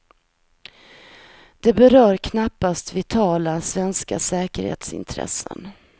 Det berör knappast vitala svenska säkerhetsintressen.